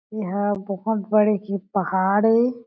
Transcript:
ऐ हा बहोत बड़े के पहाड़ ए।